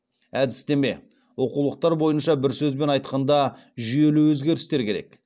әдістеме оқулықтар бойынша бір сөзбен айтқанда жүйелі өзгерістер керек